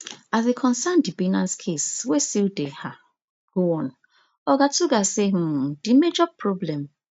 as e concern di binance case wey still dey um go on oga tuggar say um di major problem